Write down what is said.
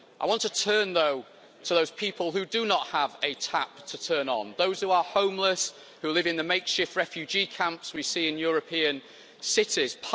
I want to turn though to those people who do not have a tap to turn on, those who are homeless, who live in the makeshift refugee camps we see in European cities.